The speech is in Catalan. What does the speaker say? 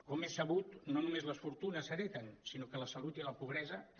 com és sabut no només les fortunes s’hereten sinó que la salut i la pobresa també